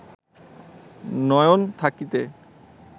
নয়ন থাকিতে